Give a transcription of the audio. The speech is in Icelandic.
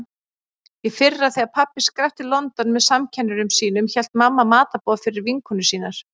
Í fyrra þegar pabbi skrapp til London með samkennurum sínum hélt mamma matarboð fyrir vinkonur sínar.